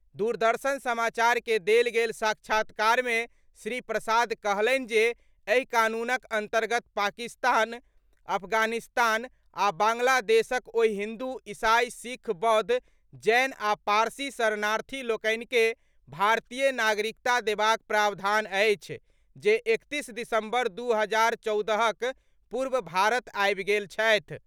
दूरदर्शन समाचार के देल गेल साक्षात्कार मे श्री प्रसाद कहलनि जे एहि कानूनक अन्तर्गत पाकिस्तान, अफगानिस्तान आ बांग्लादेशक ओहि हिन्दु, ईसाई, सिख, बौद्ध, जैन आ पारसी शरणार्थी लोकनि के भारतीय नागरिकता देबाक प्रावधान अछि जे एकतीस दिसम्बर दू हजार चौदहक पूर्व भारत आबि गेल छथि।